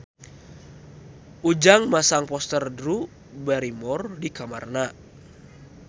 Ujang masang poster Drew Barrymore di kamarna